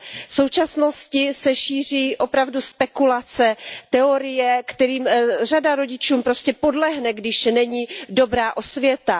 V současnosti se šíří opravdu spekulace, teorie, kterým řada rodičů prostě podlehne, když není dobrá osvěta.